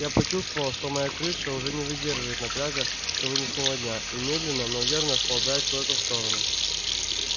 я почувствовал что моя крыша уже не выдерживает напряга сегодняшнего дня и медленно но верно сползает куда-то в сторону